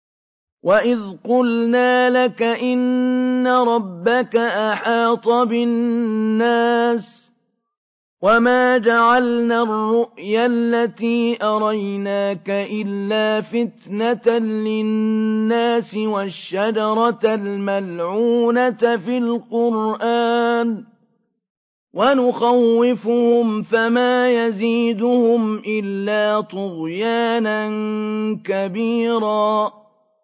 وَإِذْ قُلْنَا لَكَ إِنَّ رَبَّكَ أَحَاطَ بِالنَّاسِ ۚ وَمَا جَعَلْنَا الرُّؤْيَا الَّتِي أَرَيْنَاكَ إِلَّا فِتْنَةً لِّلنَّاسِ وَالشَّجَرَةَ الْمَلْعُونَةَ فِي الْقُرْآنِ ۚ وَنُخَوِّفُهُمْ فَمَا يَزِيدُهُمْ إِلَّا طُغْيَانًا كَبِيرًا